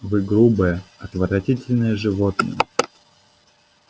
вы грубое отвратительное животное